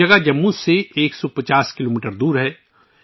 یہ جگہ جموں سے 150 کلومیٹر دور ہے